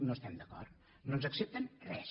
no hi estem d’acord no ens accepten res